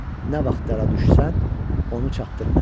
Nə vaxt dara düşsən, onu çatdır mənə.